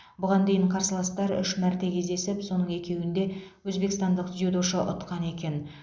бұған дейін қарсыластар үш мәрте кездесіп соның екеуінде өзбекстандық дзюдошы ұтқан екен